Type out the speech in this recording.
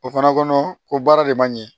O fana kɔnɔ ko baara de man ɲɛ